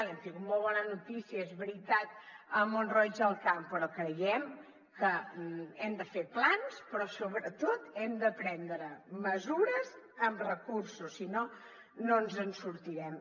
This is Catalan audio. hem tingut molt bona notícia és veritat a mont roig del camp però creiem que hem de fer plans però sobretot hem de prendre mesures amb recursos si no no ens en sortirem